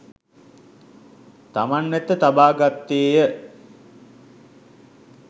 තමන් වෙත තබා ගත්තේ ය.